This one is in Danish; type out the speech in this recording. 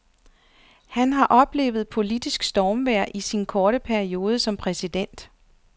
Han har oplevet politisk stormvejr i sin korte periode som præsident.